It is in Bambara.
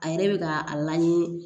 A yɛrɛ bɛ ka a lamini